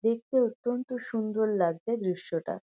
দেখতে অত্যন্ত সুন্দর লাগছে দৃশ্যটা।